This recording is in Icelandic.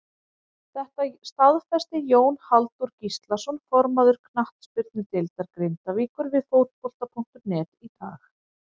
Þetta staðfesti Jón Halldór Gíslason formaður knattspyrnudeildar Grindavíkur við Fótbolta.net í dag.